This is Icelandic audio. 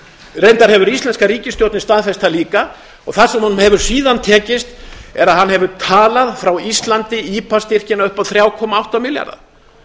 reyndar hefur íslenska ríkisstjórnin staðfest það líka það sem honum hefur síðan tekist er að hann hefur talað frá íslandi ipa styrkina upp á þrjá komma átta milljarða